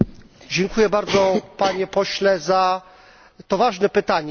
Dziękuję bardzo Panie Pośle za to ważne pytanie.